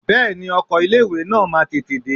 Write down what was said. Bẹ́ẹ̀ni ọkọ̀ ilé ìwé náà máa tètè dé.